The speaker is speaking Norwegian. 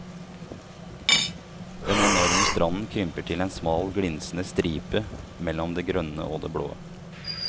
Den enorme stranden krymper til en smal glinsende stripe mellom det grønne og det blå.